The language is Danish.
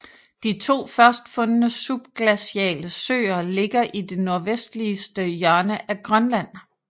De to først fundne subglaciale søer ligger i det nordvestligste hjørne af Grønland